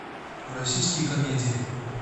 российские комедии